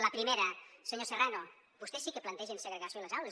la primera senyor serrano vostès sí que plantegen segregació a les aules